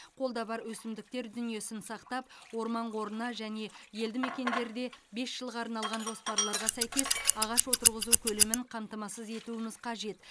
қолда бар өсімдіктер дүниесін сақтап орман қорына және елді мекендерде бес жылға арналған жоспарларға сәйкес ағаш отырғызу көлемін қамтамасыз етуіміз қажет